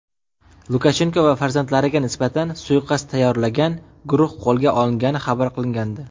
Lukashenko va farzandlariga nisbatan suiqasd tayyorlagan guruh qo‘lga olingani xabar qilingandi.